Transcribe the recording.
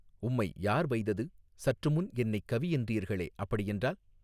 உம்மை யார் வைதது சற்று முன் என்னைக் கவி என்றீர்களே அப்படியென்றால்.